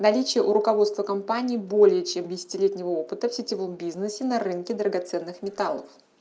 наличие у руководства компании более чем десятилетнего опыта в сетевом бизнесе на рынке драгоценных металлов